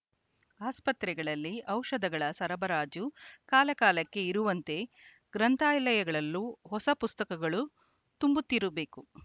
ಅಸ್ಪತ್ರೆಗಳಲ್ಲಿ ಔಷದಗಳ ಸರಬರಾಜು ಕಾಲಕಾಲಕ್ಕೆ ಇರುವಂತೆ ಗ್ರಂಥಾಲಯಗಳಲ್ಲೂ ಹೊಸ ಪುಸ್ತಕಗಳು ತುಂಬುತ್ತಿರಬೇಕು